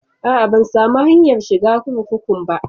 A'a, ban samu hanyar shiga kurkukun ba.